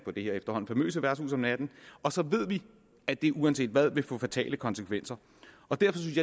på det her efterhånden famøse værtshus om natten og så ved vi at det uanset hvad vil få fatale konsekvenser derfor synes